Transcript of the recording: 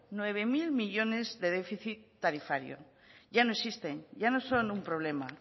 nueve mil millónes de déficit tarifario ya no existen ya no son un problema